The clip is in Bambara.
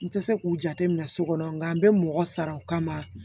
N tɛ se k'u jate minɛ so kɔnɔ nka n bɛ mɔgɔ sara o kama